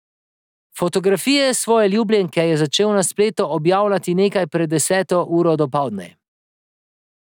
Fotografije svoje ljubljenke je začel na spletu objavljati nekaj pred deseto uro dopoldne.